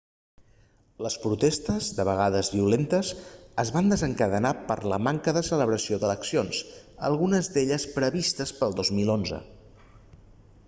les protestes de vegades violentes es van desencadenar per la manca de celebració d'eleccions algunes d'elles previstes pel 2011